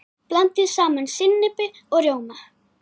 Blandið saman sinnepi og rjóma.